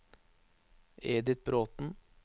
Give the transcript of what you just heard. Edith Bråthen